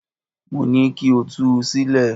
Mo ní kí o tú u sílẹ̀!